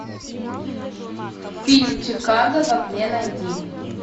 фильм чикаго в огне найди